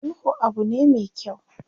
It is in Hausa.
Sulhu abu ne me kyau.